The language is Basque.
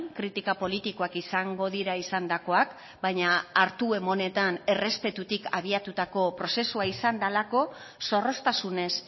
kritika politikoak izango dira izandakoak baina hartu emanetan errespetutik abiatutako prozesua izan delako zorroztasunez